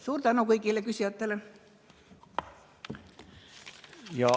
Suur tänu kõigile küsijatele!